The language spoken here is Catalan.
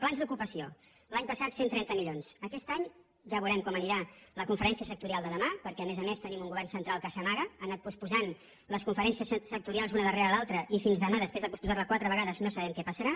plans d’ocupació l’any passat cent i trenta milions aquest any ja veurem com anirà la conferència sectorial de demà perquè a més a més tenim un govern central que s’amaga ha anat posposant les conferències sectorials una darrere l’altra i fins demà després de posposar la quatre vegades no sabem què passarà